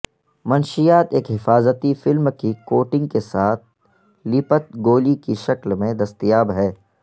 منشیات ایک حفاظتی فلم کی کوٹنگ کے ساتھ لیپت گولی کی شکل میں دستیاب ہے